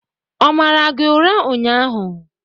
Ọ mara gị ụra ụnyahụ?